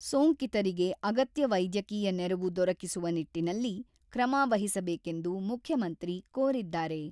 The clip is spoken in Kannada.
ಸೋಂಕಿತರಿಗೆ ಅಗತ್ಯ ವೈದ್ಯಕೀಯ ನೆರವು ದೊರಕಿಸುವ ನಿಟ್ಟಿನಲ್ಲಿ ಕ್ರಮ ವಹಿಸಬೇಕೆಂದು ಮುಖ್ಯಮಂತ್ರಿ ಕೋರಿದ್ದಾರೆ.